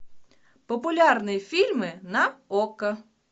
популярные фильмы на окко